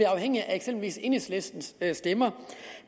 afhængige af eksempelvis enhedslistens stemmer